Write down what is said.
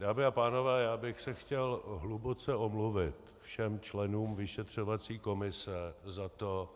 Dámy a pánové, já bych se chtěl hluboce omluvit všem členům vyšetřovací komise za to,